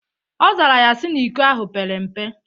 Ọ zara ya sị na iko ahụ pere mpe.